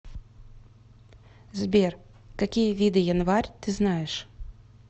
сбер какие виды январь ты знаешь